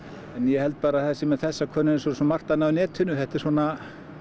ég held að sé með þessa könnun eins og svo margt annað á netinu þetta er svona